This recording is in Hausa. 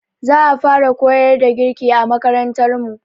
Za a fara koyar da girki a makarantar mu.